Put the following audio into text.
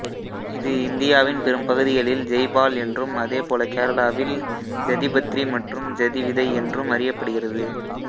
இது இந்தியாவின் பெரும் பகுதிகளில் ஜெய்பால் என்றும் அதேபோல கேரளாவில் ஜதிபத்ரி மற்றும் ஜதி விதை என்றும் அறியப்படுகிறது